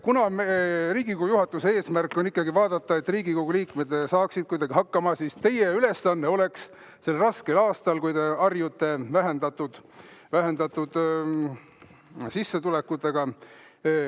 Riigikogu juhatuse eesmärk on ikkagi vaadata, et Riigikogu liikmed saaksid kuidagi hakkama, ja teie ülesanne oleks see ka sellel raskel aastal, kui te harjute vähendatud sissetulekutega.